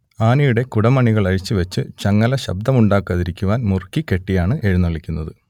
ആനയുടെ കുടമണികൾ അഴിച്ചുവെച്ച് ചങ്ങല ശബ്ദമുണ്ടാക്കാതിരിക്കുവാൻ മുറുക്കി കെട്ടിയാണ് എഴുന്നള്ളിക്കുന്നത്